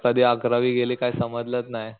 कधी अकरावी गेली काय समजलच नाही.